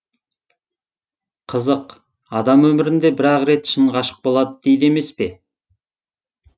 қызық адам өмірінде бір ақ рет шын ғашық болады дейді емес пе